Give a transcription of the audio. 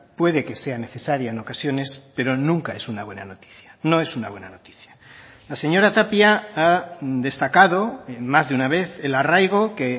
puede que sea necesaria en ocasiones pero nunca es una buena noticia no es una buena noticia la señora tapia ha destacado en más de una vez el arraigo que